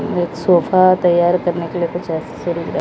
यहां एक सोफा तैयार करने के लिए कुछ एसेसरीज लाई--